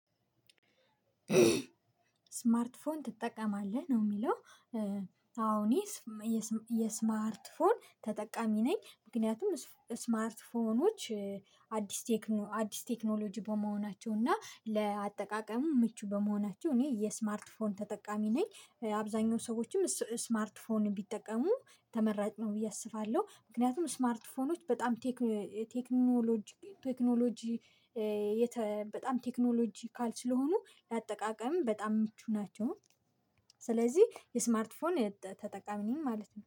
ስማርት ፎን ትጠቀማለህ? ነው የሚለው። አዎ እኔ የስማርት ፎን ተጠቃሚ ነኝ። ምክንያቱም ስማርት ፎኖች አዲስ ቴክኖሎጂ በመሆናቸው እና ለአጠቃቀሙ ምቹ በመሆናቸው እኔ የስማርት ፎን ተጠቃሚ ነኝ። አብዛኛው ሰዎችም ስማርት ፎን ቢጠቀሙ ተመራጭ ነው ብዬ አስፋለሁ። ምክንያቱም ስማርት ፎኖች በጣም ቴክኖሎጂ ቴክኖሎጂ በጣም ቴክኖሎጂካል ስለሆኑ ላጠቃቀምም በጣም ምቹ ናቸው። ስለዚህ የስማርት ፎን ተጠቃሚ ነኝ ማለት ነው።